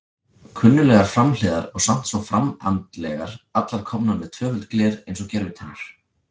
Kunnuglegar framhliðar og samt svo framandlegar, allar komnar með tvöföld gler eins og gervitennur.